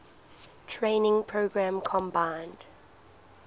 training program combined